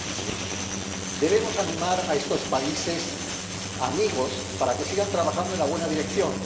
2017. Debemos animar a estos países amigos para que sigan trabajando en la buena dirección.